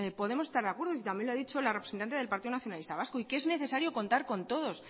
podemos estar de acuerdo si también lo ha dicho la representante del partido nacionalista vasco y que es necesario contar con todos